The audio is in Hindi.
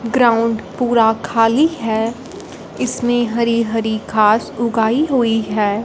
ग्राउंड पूरा खाली है इसमें हरी हरी घास उगाई हुई है।